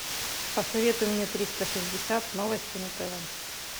посоветуй мне триста шестьдесят новости на тв